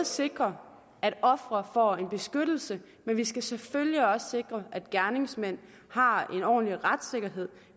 sikre at offeret får en beskyttelse men vi skal selvfølgelig også sikre at gerningsmanden har en ordentlig retssikkerhed